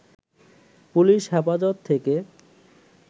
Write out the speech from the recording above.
police হেফাজত থেকে